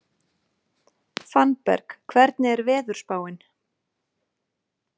Fannberg, hvernig er veðurspáin?